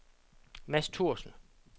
Mads Thorsen